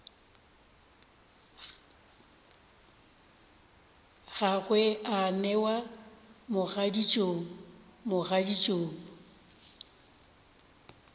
gagwe a newa mogaditšong mogaditšong